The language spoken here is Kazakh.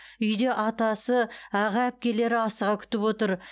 үйде атасы аға әпкелері асыға күтіп отыр